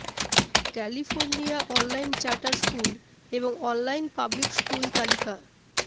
California online charter school এবং online public school তালিকা